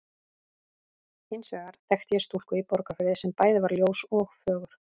Hins vegar þekkti ég stúlku í Borgarfirði sem bæði var ljós og fögur.